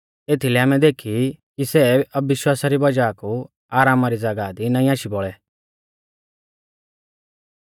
एथीलै आमै देखी ई कि सै अविश्वासा री वज़ाह कु आरामा री ज़ागाह दी नाईं आशी बौल़ै